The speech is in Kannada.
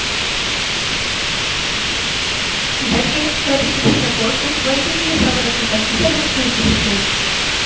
ಇದಕ್ಕೆ ಪ್ರತಿಕ್ರಿಯಿಸಿದ ಕೋರ್ಟು ವೈದ್ಯಕೀಯ ಸವಲತ್ತು ಕಲ್ಪಿಸಲು ಸೂಚಿಸಿತು